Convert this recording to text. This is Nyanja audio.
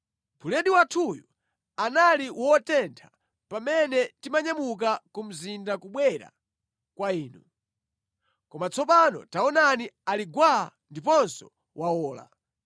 Buledi wathuyu anali wotentha pamene timanyamuka ku mudzi kubwera kwa inu. Koma tsopano taonani ali gwaa ndiponso wawola.